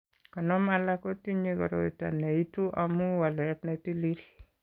Konom alak ko tinye koroito ne itu amu walet ne tilil.